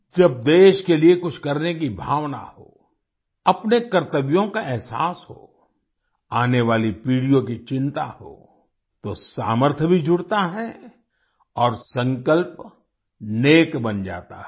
जब देश के लिए कुछ करने की भावना हो अपने कर्तव्यों का एहसास हो आने वाली पीढ़ीयों की चिंता हो तो सामर्थ्य भी जुड़ता है और संकल्प नेक बन जाता है